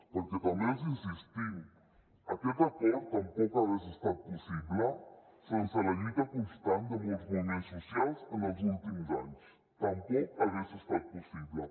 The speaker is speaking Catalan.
perquè també els insistim aquest acord tampoc hagués estat possible sense la lluita constant de molts moviments socials en els últims anys tampoc ha estat possible